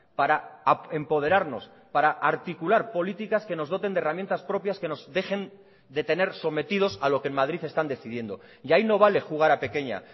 para empoderarnos para articular políticas que nos doten de herramientas propias que nos dejen de tener sometidos a lo que en madrid están decidiendo y ahí no vale jugar a pequeña